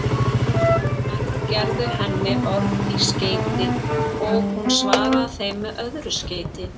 Menn gerðu henni orð í skeyti og hún svaraði þeim með öðru skeyti.